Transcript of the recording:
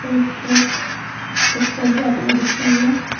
एक ट्रक एक ट्रक जाती हुए दिख रही है।